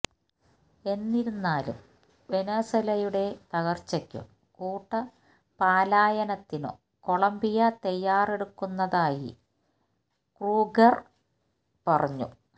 എന്നിരുന്നാലും വെനെസ്വേലയുടെ തകര്ച്ചയ്ക്കോ കൂട്ട പലായനത്തിനോ കൊളംബിയ തയ്യാറെടുക്കുന്നതായി ക്രൂഗര് പറഞ്ഞു